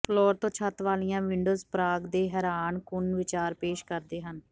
floor ਤੋਂ ਛੱਤ ਵਾਲੀਆਂ ਵਿੰਡੋਜ਼ ਪ੍ਰਾਗ ਦੇ ਹੈਰਾਨਕੁਨ ਵਿਚਾਰ ਪੇਸ਼ ਕਰਦੇ ਹਨ